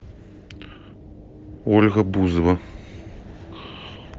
ольга бузова